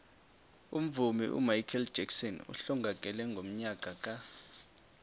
umvumi umichael jackson uhlongakele ngonyaka ka